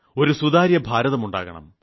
ഒരു സുതാര്യ ഭാരതം ഉണ്ടാക്കണം